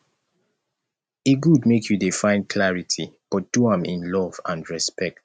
e good make you dey find clarity but do am in love and respect